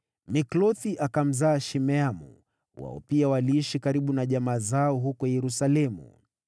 Miklothi akamzaa Shimeamu. Wao pia waliishi karibu na jamaa zao huko Yerusalemu.